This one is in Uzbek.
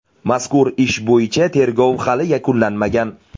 Mazkur ish bo‘yicha tergov hali yakunlanmagan.